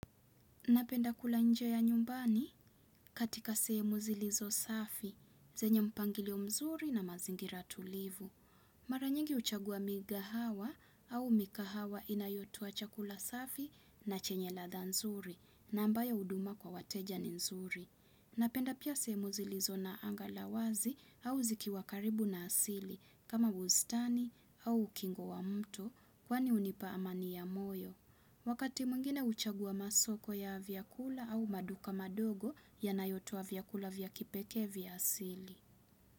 Napenda kula nje ya nyumbani katika sehemu zilizo safi, zenye mpangilio mzuri na mazingira tulivu. Mara nyingi huchagua migahawa au mikahawa inayotoa chakula safi na chenye ladha nzuri na ambayo huduma kwa wateja ni nzuri. Napenda pia sehemu zilizo na anga la wazi au zikiwa karibu na asili kama bustani au ukingo wa mtu kwani hunipa amani ya moyo. Wakati mwingine huchagua masoko ya vyakula au maduka madogo yanayotoa vyakula vya kipekee vya asili.